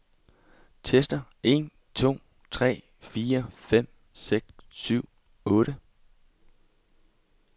Tester en to tre fire fem seks syv otte.